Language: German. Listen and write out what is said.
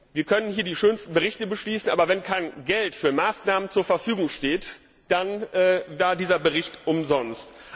Wir können hier die schönsten Berichte beschließen, aber wenn kein Geld für Maßnahmen zur Verfügung steht, dann wäre dieser Bericht umsonst.